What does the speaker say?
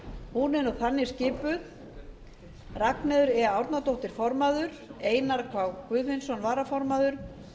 hún er þannig skipuð ragnheiður e árnadóttir formaður einar k guðfinnsson varaformaður